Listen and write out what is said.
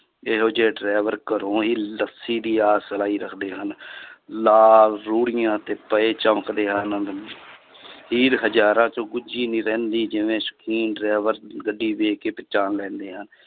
ਇਹੋ ਜਿਹੇ driver ਘਰੋਂ ਹੀ ਲੱਸੀ ਦੀ ਆਸ ਲਾਈ ਰੱਖਦੇ ਹਨ ਲਾਲ ਰੂੜੀਆਂ ਤੇ ਪਏ ਚਮਕਦੇ ਹੀਰ ਹਜ਼ਾਰਾਂ ਚੋਂ ਗੁੱਝੀ ਨੀ ਰਹਿੰਦੀ ਜਿਵੇਂ ਸ਼ੌਕੀਨ driver ਗੱਡੀ ਵੇਖ ਕੇ ਪਛਾਣ ਲੈਂਦੇ ਆ